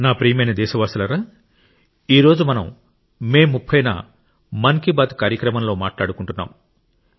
నా ప్రియమైన దేశవాసులారా ఈ రోజు మనం మే 30 న మన్ కి బాత్ కార్యక్రమంలో మాట్లాడుకుంటున్నాం